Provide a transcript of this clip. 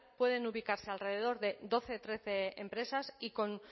pueden ubicarse alrededor de doce trece empresas y con